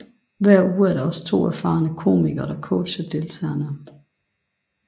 Hver uge er der også to erfarende komikere der coacher deltagerne